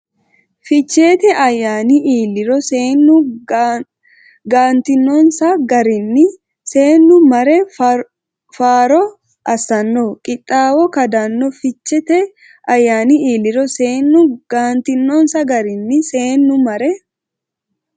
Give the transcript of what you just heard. Ficheete ayyaani iilliro seennu gaantinonsa garinni seennu mare faaro assanno qixxaawo kadanno Ficheete ayyaani iilliro seennu gaantinonsa garinni seennu mare.